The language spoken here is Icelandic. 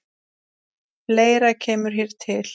Fleira kemur hér til.